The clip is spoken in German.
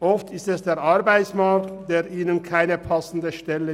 Oft bietet ihnen der Arbeitsplatz keine passende Stelle.